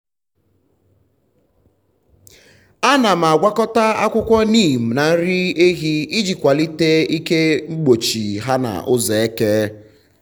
ana m agwakọta akwụkwọ neem na nri ehi iji kwalite ike mgbochi ha n’ụzọ eke.